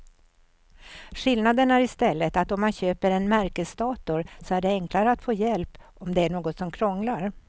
Skillnaden är i stället att om man köper en märkesdator så är det enklare att få hjälp om det är något som krånglar.